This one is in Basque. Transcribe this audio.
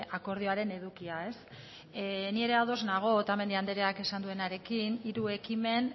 akordioaren edukia ni ere ados nago otamendi andreak esan duenarekin hiru ekimen